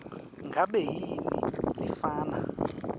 ngabe yini lefana